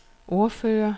ordfører